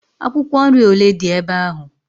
Akwụkwọ nri ole dị ebe ahụ?